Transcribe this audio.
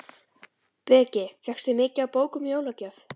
Breki: Fékkstu mikið af bókum í jólagjöf?